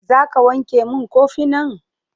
Za ka wanke min kofinan?